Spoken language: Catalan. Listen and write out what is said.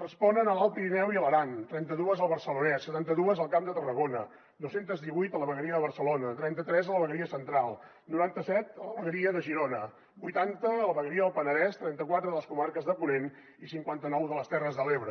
responen a l’alt pirineu i l’aran trenta dues al barcelonès setanta dues al camp de tarragona dos cents i divuit a la vegueria de barcelona trenta tres a la vegueria central noranta set a la vegueria de girona vuitanta a la vegueria del penedès trenta quatre a les comarques de ponent i cinquanta nou a les terres de l’ebre